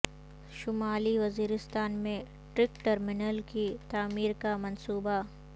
شمالی وزیرستان میں truck terminal کی تعمیر کا منصوبہ